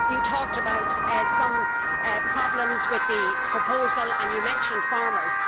You talked about some problems with the proposal and you mentioned farmers.